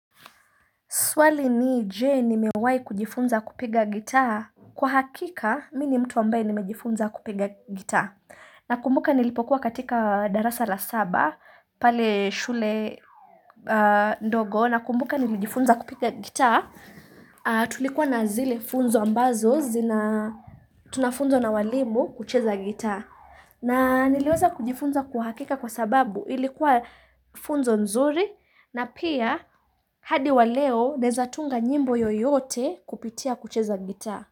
Swali ni Je ni mewai kujifunza kupiga gitaa. Kwa hakika, mi ni mtu ambaye nimejifunza kupiga gitaa. Na kumbuka nilipokuwa katika darasa la saba, pale shule ndogo, na kumbuka nilijifunza kupiga gitaa, tulikuwa na zile funzo ambazo zina tunafunzwa na walimu kucheza gitaa. Na niliweza kujifunza kwa hakika kwa sababu ilikuwa funzo nzuri na pia hadi waleo naezatunga nyimbo yoyote kupitia kucheza gita.